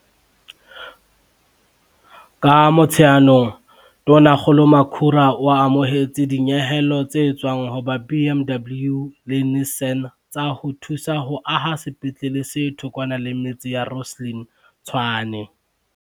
Ka Motsheanong, Tonakgolo Makhura o amohetse dinyehelo tse tswang ho ba BMW le Nissan tsa ho thusa ho aha sepetlele se thokwana le metse Rosslyn, Tshwane.